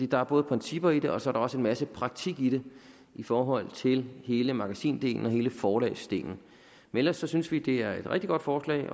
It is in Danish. der er både principper i det og så er der også en masse praktik i det i forhold til hele magasindelen og hele forlagsdelen men ellers synes vi at det er et rigtig godt forslag